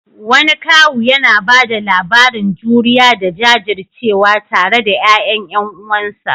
Wani kawu yana ba da labarin juriya da jajircewa tare da ƴaƴan ƴan uwansa.